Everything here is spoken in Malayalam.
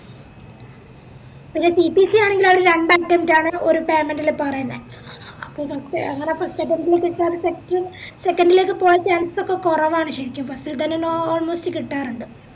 എടാ CPC ആണെങ്കില് ആ ഒര് രണ്ട attempt ആണ് ഒര് payment ല് പറയുന്നേ അപ്പൊ ഫ അങ്ങനെ first attempt ൽ കിട്ടാറുണ്ട് second ലേക്ക് പോവാ chance ഒക്കെ കൊറവാണ് ശെരിക്കും first ഇൽ തന്നെ ഞാ almost കിട്ടാറുണ്ട്